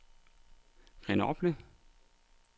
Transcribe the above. Grenoble